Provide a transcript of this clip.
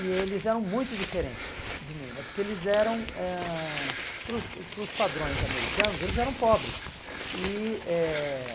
E eles eram muito diferentes de mim né, porque eles eram ãh, para os para os padrões americanos, eles eram pobres. E eh